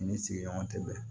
I ni sigiɲɔgɔn tɛ bɛn